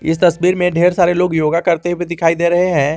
इस तस्वीर में ढेर सारे लोग योगा करते हुए दिखाई दे रहे हैं।